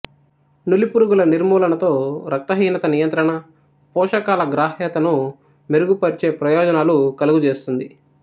నులిపురుగుల నిర్మూలనతో రక్తహీనత నియంత్రణ పోషకాల గ్రాహ్యత ను మెరుగుపర్చే ప్రయోజనాలు కలుగజేస్తుంది